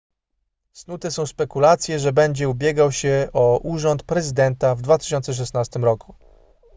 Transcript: snute są spekulacje że będzie ubiegał się o urząd prezydenta w 2016 roku